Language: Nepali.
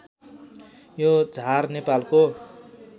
यो झार नेपालको